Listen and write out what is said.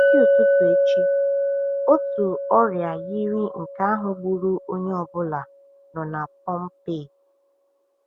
N’isi ụtụtụ echi, otu ọrịa yiri nke ahụ gburu onye ọ bụla nọ n’Pompeii.